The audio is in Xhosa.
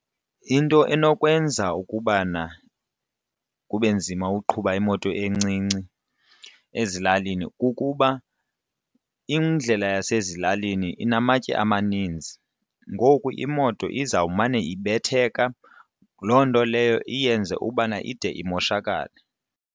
Into enokwenza ukubana kube nzima ukuqhuba imoto encinci ezilalini kukuba indlela yasezilalini inamatye amaninzi. Ngoku imoto izawumane ibetheka loo nto leyo iyenze ubana ide imoshakale.